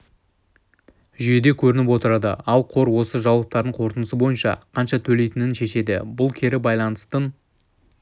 жүйеде көрініп отырады ал қор осы жауаптардың қорытындысы бойынша қанша төлейтінін шешеді бұл кері байланыстың